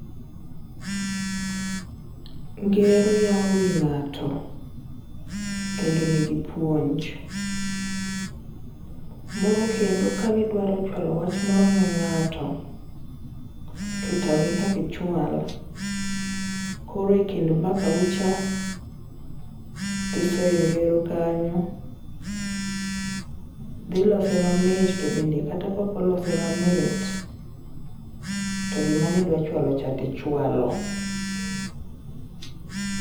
Ngero yao wii ng'ato kendo nigi puonj. Moro kendo kani dwaro chwalo wach moro ne ng'ato to tami kakichwal, koro e kind mbaka ucha, tisoe ngero kanyo, dhi lose mamit to bende kata kokolose mamit, to gima nidwachwalo cha tichwalo.